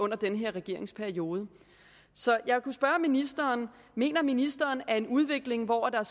den her regeringsperiode så jeg kunne spørge ministeren mener ministeren at en udvikling hvor der